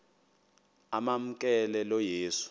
amamkela lo yesu